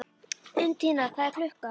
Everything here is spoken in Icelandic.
Undína, hvað er klukkan?